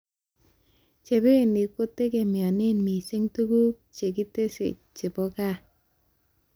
Chebeny kotegemeane mising tuguk chekitasyi chebo gaa